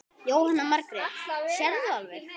Jóhanna Margrét: Sérðu alveg?